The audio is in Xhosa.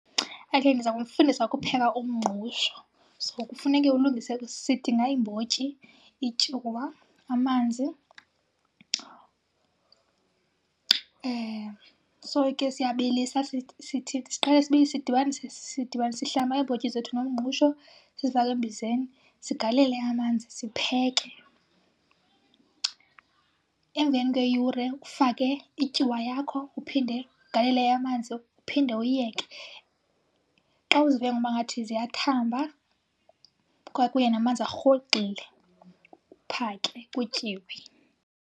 Okay, ndiza kunifundisa ukupheka umngqusho. So, kufuneke ulungise, sidinga iimbotyi, ityuwa, amanzi. So, ke siyabilisa. siqale sidibanise sihlamba iimbotyi zethu nomngqusho sizifake embizeni, sigalele amanzi sipheke. Emveni kweyure ufake ityuwa yakho, uphinde ugalele amanzi, uphinde uyiyeke. Xa uzive ngoba ngathi ziyathamba kwakunye namanzi arhogxile, uphake kutyiwe.